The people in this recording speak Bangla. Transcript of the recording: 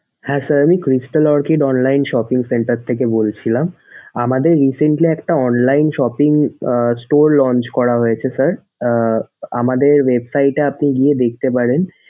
হ্যাঁ sir, Crystal Orchid online shopping centre থেকে বলছিলাম। আমাদের recently একটা online shopping uh store launch করা হয়েছে sir আহ আমাদের website এ গিয়ে আপনি দেখতে পারেন।